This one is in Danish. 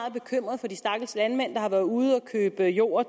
er bekymret for de stakkels landmænd der har været ude at købe jord